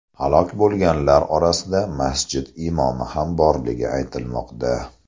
Halok bo‘lganlar orasida masjid imomi ham borligi aytilmoqda.